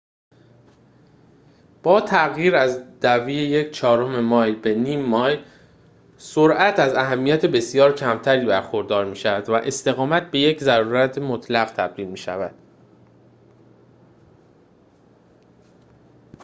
با تغییر از دوی یک چهارم مایل به نیم مایل سرعت از اهمیت بسیار کمتری برخوردار می شود و استقامت به یک ضرورت مطلق تبدیل می شود